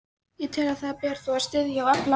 Ég tel, að það beri þó að styðja og efla,